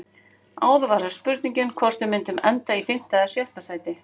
Áður var það spurningin hvort við myndum enda í fimmta eða sjötta sæti.